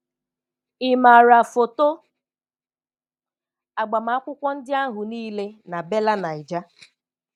Ị maara foto agbamakwụkwọ ndị ahụ niile na Bella Naija?